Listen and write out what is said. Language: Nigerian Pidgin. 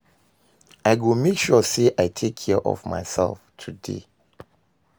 I go make sure say i take care of myself today.